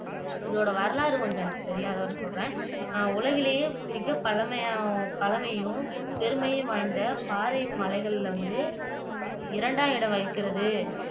இதோட வரலாறு எனக்கு கொஞ்சம் தெரியும் அதை வந்து சொல்றேன் உலகிலேயே மிகப் பழமை பழமையும் பெருமையும் வாய்ந்த பாறை மலைகள்ல வந்து இரண்டாம் இடம் வகிக்கிறது